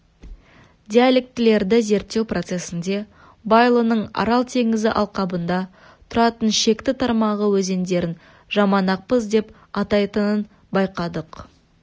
диалектілерді зерттеу процесінде байұлының арал теңізі алқабында тұратын шекті тармағы өздерін жаманақпыз деп атайтынын байқадық